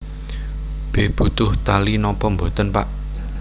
B Butuh tali napa boten Pak